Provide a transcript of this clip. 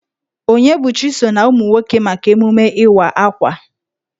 Onyebuchi so na umụ nwoke maka emume Ịwa Akwa.